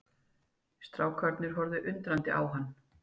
Strákarnir horfðu undrandi á hann.